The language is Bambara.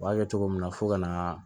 U b'a kɛ cogo min na fo ka na